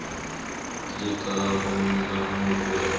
likanamkoneni